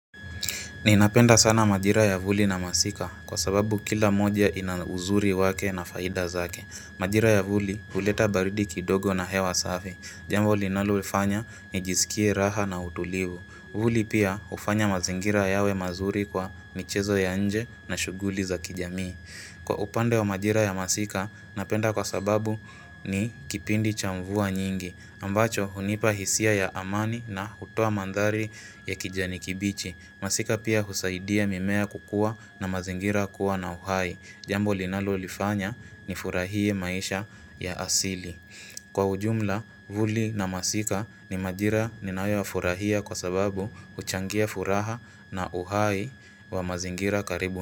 Ninapenda sana majira ya vuli na masika kwa sababu kila moja ina uzuri wake na faida zake. Majira ya vuli huleta baridi kidogo na hewa safi. Jambo linaloifanya nijisikie raha na utulivu. Vuli pia hufanya mazingira yawe mazuri kwa michezo ya nje na shuguli za kijamii. Kwa upande wa majira ya masika, napenda kwa sababu ni kipindi cha mvua nyingi, ambacho hunipa hisia ya amani na hutoa manthari ya kijani kibichi. Masika pia husaidia mimea kukua na mazingira kuwa na uhai. Jambo linalolifanya nifurahie maisha ya asili. Kwa ujumla, vuli na masika ni majira ninayoyafurahia kwa sababu huchangia furaha na uhai wa mazingira karibu.